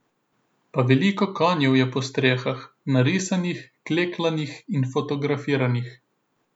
Pa veliko konjev je po stenah, narisanih, klekljanih in fotografiranih.